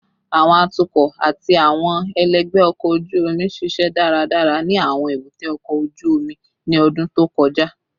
Awọn atukọ ati awọn ẹlẹgbẹ ọkọ oju omi ṣiṣẹ daradara ni awọn ebute oko oju omi ni ọdun to kọja